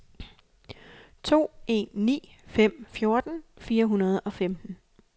to en ni fem fjorten fire hundrede og femten